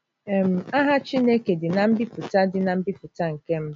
um Aha Chineke dị ná mbipụta dị ná mbipụta nke mbụ.